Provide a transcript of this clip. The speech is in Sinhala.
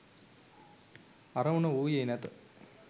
අරමුණ වූයේ නැත.